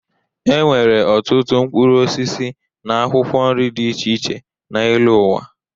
E nwere ọtụtụ mkpụrụosisi na akwụkwọ nri dị iche iche n'elu ụwa.